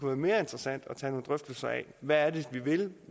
være mere interessant at tage nogle drøftelser af hvad er det vi vil